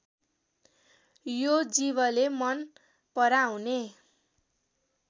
यो जीवले मन पराउने